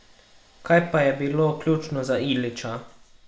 Kaj pa je bilo ključno za Ilića?